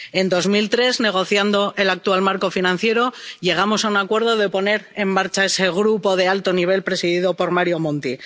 En 2003, negociando el actual marco financiero, llegamos a un acuerdo para poner en marcha ese grupo de alto nivel presidido por Mario Monti.